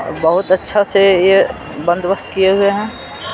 बहुत अच्छा से यह बंदोबस्त किए हुए हैं।